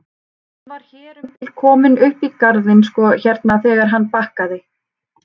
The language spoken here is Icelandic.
Hann var hér um bil kominn upp í garðinn sko hérna þegar hann bakkaði.